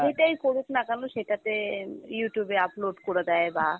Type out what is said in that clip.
যেইটাই করুক না কেন সেটাতে Youtube এ upload করে দেয় বা